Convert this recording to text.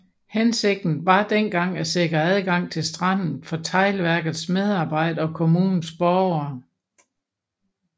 Hensigten var dengang at sikre adgang til stranden for teglværkets medarbejdere og kommunens borgere